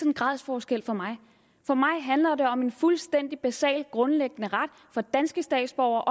en gradsforskel for mig handler det om en fuldstændig basal og grundlæggende ret for danske statsborgere